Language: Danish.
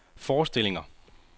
forestillinger